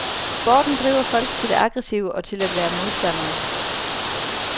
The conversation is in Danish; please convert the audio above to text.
Sporten driver folk til det aggressive og til at være modstandere.